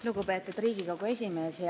Lugupeetud Riigikogu esimees!